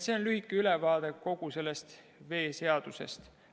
See on lühike ülevaade kogu veeseadusest.